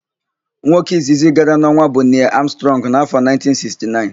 Nwoke izizi gara n'ọnwa bụ Nịel Amstrọngụ n'áfọ̀ 1969.